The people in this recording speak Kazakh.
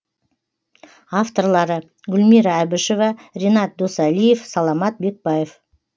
авторлары гүлмира әбішева ренат досалиев саламат бекбаев